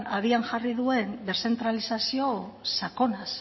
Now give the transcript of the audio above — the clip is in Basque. abian jarri duen deszentralizazio sakonaz